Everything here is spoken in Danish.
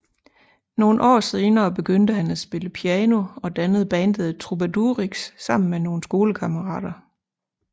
Nogle år senere begyndte han at spille piano og dannede bandet Trubadurix sammen med nogle skolekammarater